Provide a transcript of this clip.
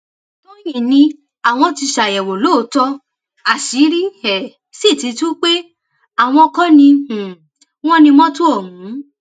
tọnyìn ni àwọn ti ṣàyẹwò lóòótọ àṣírí um sì ti tú pé àwọn kò ní um wọn ní mọtò ọhún